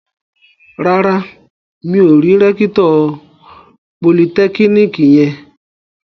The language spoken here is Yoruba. Rárá, mi ò rí rẹ́kítọ̀ politẹ́kíníkì yẹn